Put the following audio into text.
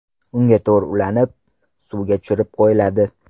Unga to‘r ulanib, suvga tushirib qo‘yiladi.